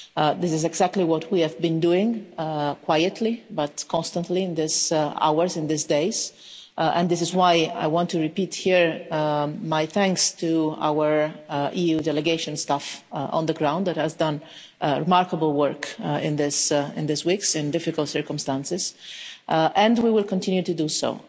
This is exactly what we have been doing, quietly but constantly, in these hours, in these days, and this is why I want to repeat here my thanks to our EU delegation staff on the ground that has done remarkable work in these weeks, in difficult circumstances, and we will continue to do so.